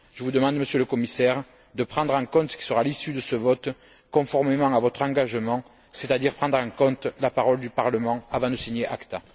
Je vous demande, Monsieur le Commissaire, de prendre en compte ce qui sera l'issue de ce vote conformément à votre engagement, c'est à dire prendre en compte la parole du Parlement avant de signer acte.